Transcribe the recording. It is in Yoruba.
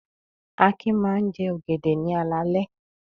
Akin máa ń jẹ ọ̀gẹ̀dẹ̀ ní alaalẹ́.